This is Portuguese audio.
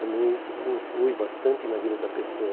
Também isso me influi bastante na vida da pessoa.